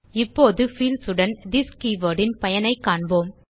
இப்போது பீல்ட்ஸ் உடன் this keyword ன் பயனைக் காண்போம்